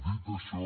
dit això